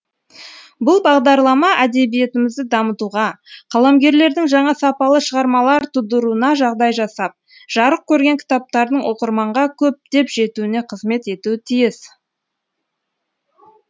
бұл бағдарлама әдебиетімізді дамытуға қаламгерлердің жаңа сапалы шығармалар тудыруына жағдай жасап жарық көрген кітаптардың оқырманға көптеп жетуіне қызмет етуі тиіс